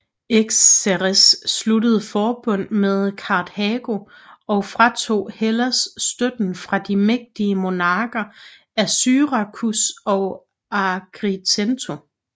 Xerxes sluttede forbund med Karthago og fratog Hellas støtten fra de mægtige monarker af Syrakus og Agrigento